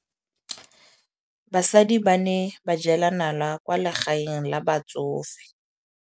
Basadi ba ne ba jela nala kwaa legaeng la batsofe.